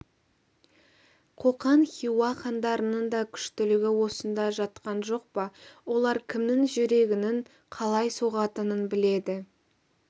қоқан хиуа хандарының да күштілігі осында жатқан жоқ па олар кімнің жүрегінің қалай соғатынын біледі